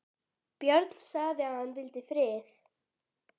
Björn sagði að hann vildi frið.